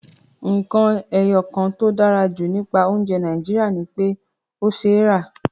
Nǹkan ẹyọ kan tó dára jù nípa oúnjẹ Nàìjíríà ni pé ó ṣeé rà